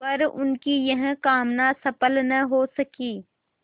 पर उनकी यह कामना सफल न हो सकी